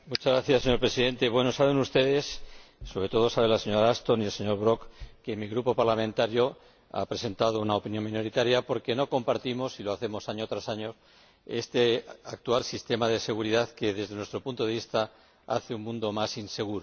Señor Presidente, saben ustedes, sobre todo la señora Ashton y el señor Brok, que mi Grupo parlamentario ha presentado una opinión minoritaria porque no compartimos —y lo hacemos año tras año— este actual sistema de seguridad, que, desde nuestro punto de vista, hace un mundo más inseguro.